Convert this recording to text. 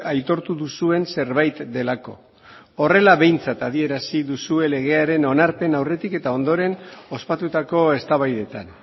aitortu duzuen zerbait delako horrela behintzat adierazi duzue legearen onarpen aurretik eta ondoren ospatutako eztabaidetan